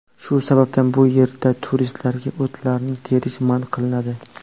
Shu sababdan bu yerda turistlarga o‘tlarni terish man qilinadi.